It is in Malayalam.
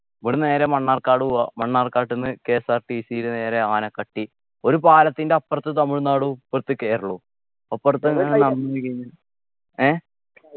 ഇവിടുന്നു നേരെ മണ്ണാർക്കാട് പോവ്വാ മണ്ണാർക്കാട്ട്ന്ന് KSRTC ൽ നേരെ ആനക്കട്ടി ഒരു പാലത്തിൻ്റെ അപ്പർത്ത് തമിഴ്‌നാടും ഇപ്പറത്ത് കേരളവും അപ്പർത്ത ഏർ